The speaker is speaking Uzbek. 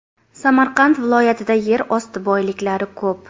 Samarqand viloyatida yer osti boyliklari ko‘p.